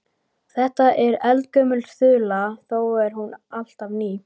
Þetta er eldgömul þula þó er hún alltaf ný.